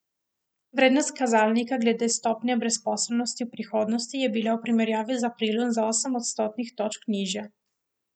Vrednost kazalnika glede stopnje brezposelnosti v prihodnosti je bila v primerjavi z aprilom za osem odstotnih točk nižja.